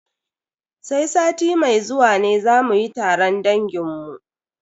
Sai sati mai zuwa ne za mu yi taron dangin mu.